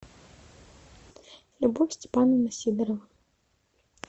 любовь степановна сидорова